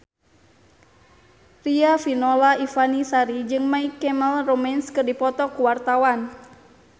Riafinola Ifani Sari jeung My Chemical Romance keur dipoto ku wartawan